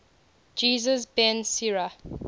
jesus ben sira